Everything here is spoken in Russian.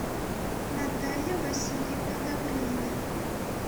наталья васильевна добрынина